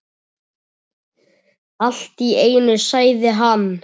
Allt í einu sagði hann